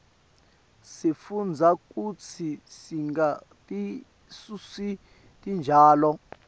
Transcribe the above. sifundza kutsi singatisusi titjalo